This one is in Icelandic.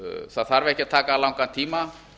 það þarf ekki að taka langan tíma